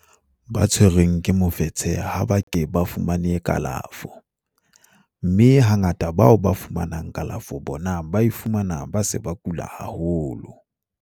ba tshwerweng ke mofetshe ha ba ke ba fumane kalafo, mme hangata bao ba fumanang kalafo bona ba e fumana ba se ba kula haholo.